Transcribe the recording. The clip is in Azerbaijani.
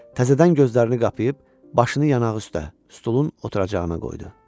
Təzədən gözlərini qapıyıb başını yanaq üstə, stolun oturacağına qoydu.